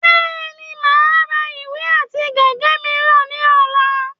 Bẹ́ẹ̀ni, mà á ra ìwé àti gègé mìíràn ní ọ̀la